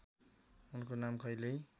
उनको नाम पहिल्यै